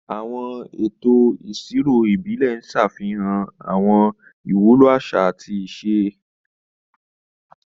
Àwọn ètò ìṣirò ìbílẹ̀ ń ṣàfihàn àwọn ìwúlò àṣà àti ìṣe.